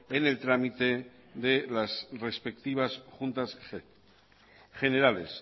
en el trámite de las respectivas juntas generales